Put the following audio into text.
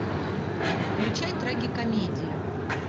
включай трагикомедию